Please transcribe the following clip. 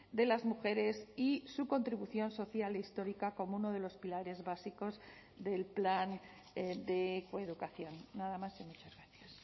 de las mujeres y su contribución social histórica como uno de los pilares básicos del plan de coeducación nada más y muchas gracias